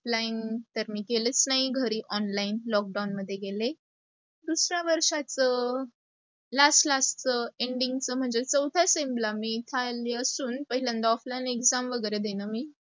offline तर मी केलेच नाही घरी online lockdown मध्ये गेले. दुसरा वर्षाच last-last च, ending म्हणजे चवठ्या strem ला मी पहिल्यांदा offline exam दिलं मी